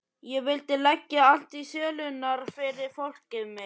Ég vildi leggja allt í sölurnar fyrir fólkið mitt.